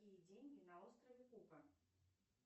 какие деньги на острове кука